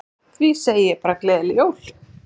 Því segi ég bara gleðileg jól.